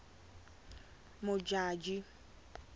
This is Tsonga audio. modjadji